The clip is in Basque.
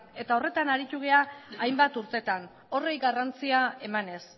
eta horretan aritu gara hainbat urtetan horri garrantzia emanez